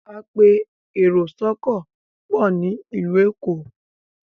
apẹ èrò sóko pọ ní ilu ẹkọ